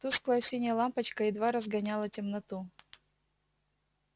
тусклая синяя лампочка едва разгоняла темноту